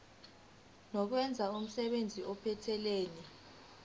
nokwenza umsebenzi ophathelene